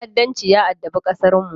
Ta’addanci ya addabi ƙasarmu.